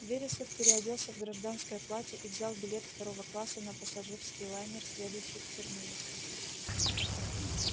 вересов переоделся в гражданское платье и взял билет второго класса на пассажирский лайнер следующий к терминусу